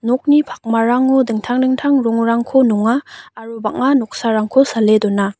nokni pakmarango dingtang dingtang rongrangko nonga aro bang·a noksarangko sale dona.